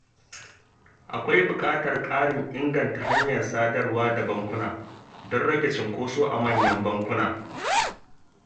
Akwai buƙatar ƙarin inganta hanyar sadarwar da bankuna don rage cunkoso a manyan bankuna.